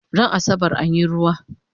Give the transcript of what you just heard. Ran asabar anyi ruwa?